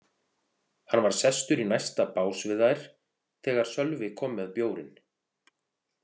Hann var sestur í næsta bás við þær þegar Sölvi kom með bjórinn.